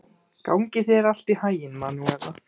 Gangi þér allt í haginn, Manúela.